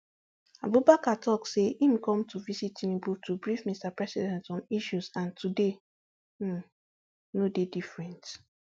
abubakar tok say im come to visit tinubu to brief mr president on issues and today um no dey different